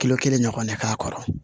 Kilo kelen ɲɔgɔnna k'a kɔrɔ